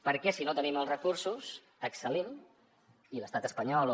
per què si no tenim els recursos excel·lim i l’estat espanyol o